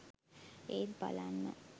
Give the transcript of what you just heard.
ඒත් බලන්න